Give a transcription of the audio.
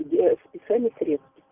для списания средств